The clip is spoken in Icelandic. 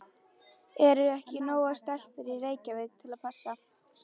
Eru ekki nógar stelpur í Reykjavík til að passa?